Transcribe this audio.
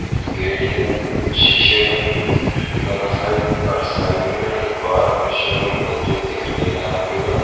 Gate है शीशे का दोनों साइड और साइड में एक और शोरूम में जो दिख नहीं रहा है पूरा।